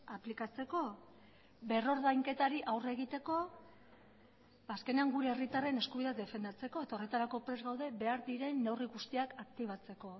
aplikatzeko berrordainketari aurre egiteko azkenean gure herritarren eskubideak defendatzeko eta horretarako prest gaude behar diren neurri guztiak aktibatzeko